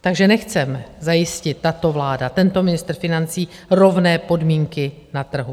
Takže nechce zajistit tato vláda, tento ministr financí rovné podmínky na trhu.